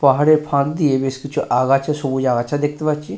পাহাড়ের ফাঁক দিয়ে বেশ কিছু আগাছা সবুজ আগাছা দেখতে পাচ্ছি ।